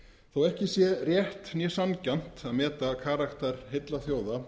þó að ekki sé rétt né sanngjarnt að meta karakter heilla þjóða